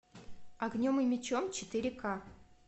огнем и мечом четыре ка